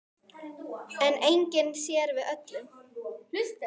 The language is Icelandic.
En enginn sér við öllum.